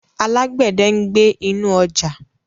Alágbẹ̀dẹ̀ ń gbẹ́ inú ọjà.